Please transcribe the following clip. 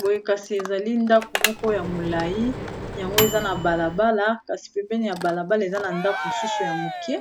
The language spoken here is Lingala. Boye kasi ezali ndako moko ya molai yango eza na balabala kasi pempene ya balabala eza na ndako mosusu ya moke